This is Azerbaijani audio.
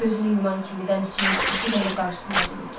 Gözünü yuman kimi dənizçinin sifəti gəlib qarşısında dururdu.